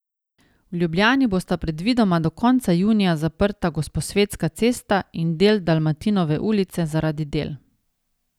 V Ljubljani bosta predvidoma do konca junija zaprta Gosposvetska cesta in del Dalmatinove ulice zaradi del.